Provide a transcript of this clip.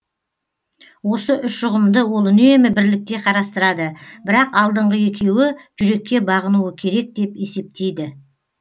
осы үш ұғымды ол үнемі бірлікте қарастырады бірақ алдыңғы екеуі жүрекке бағынуы керек деп есептейді